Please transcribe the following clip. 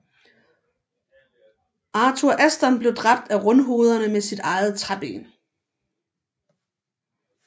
Arthur Aston blev dræbt af rundhovederne med sit eget træben